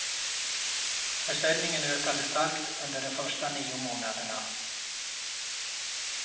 Försäljningen ökade starkt under de första nio månaderna.